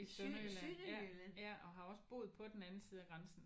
I Sønderjylland ja ja og har også boet på den anden side af grænsen